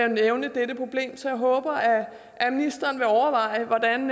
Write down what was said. nævne dette problem så jeg håber at ministeren vil overveje hvordan